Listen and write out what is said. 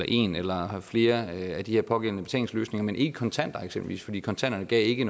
en eller flere af de her pågældende betalingsløsninger men ikke kontanter eksempelvis fordi kontanter ikke